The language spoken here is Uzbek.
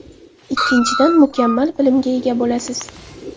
Ikkinchidan, mukammal bilimga ega bo‘lasiz.